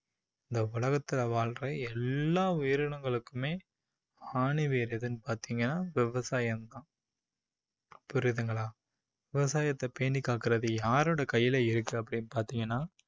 இந்த உலகத்துல வாழ்ற எல்லா உயிரினங்களுக்குமே ஆணிவேர் எதுன்னு பாத்தீங்கன்னா விவசாயம் தான் புரியுதுங்களா விவசாயத்தை பேணிக்காக்குறது யாரோட கையில இருக்கு அப்படின்னு பாத்தீங்கன்னா